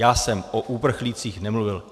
Já jsem o uprchlících nemluvil.